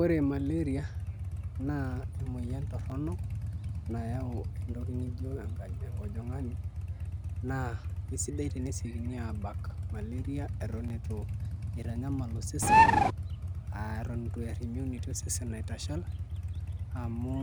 Ore maleria na emoyian toronok nayau entoki nijo enkajangani na kesidai enesiekini aar malaria itu itanyamal osesen aatan ituear imunity osesen aitashal amu